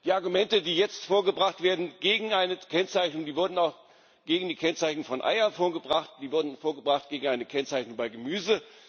Die Argumente, die jetzt vorgebracht werden gegen eine Kennzeichnung, wurden auch gegen die Kennzeichnung von Eiern vorgebracht, die wurden vorgebracht gegen eine Kennzeichnung von Gemüse.